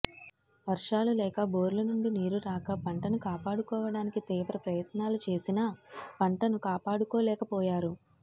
వర్షాలు లేక బోర్లు నుండి నీరు రాక పంటను కాపాడుకోవడానికి తీవ్ర ప్రయత్నాలు చేసినా పంటను కాపాడుకోలేకపోయారు